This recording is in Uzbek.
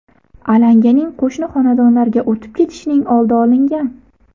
Alanganing qo‘shni xonadonlarga o‘tib ketishining oldi olingan.